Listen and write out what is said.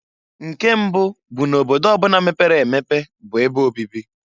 Nke mbụụ bụ n' obodo ọ bụna bụ obodo mepere emepe bụ ebe obibi.